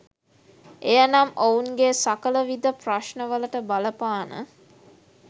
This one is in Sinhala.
එය නම් ඔවුන්ගේ සකල විධ ප්‍රශ්නවලට බලපාන